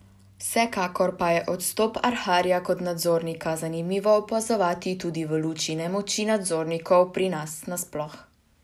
Vsekakor pa je odstop Arharja kot nadzornika zanimivo opazovati tudi v luči nemoči nadzornikov pri nas nasploh.